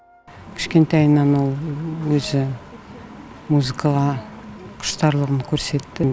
кішкентайынан ол өзі музыкаға құштарлығын көрсетті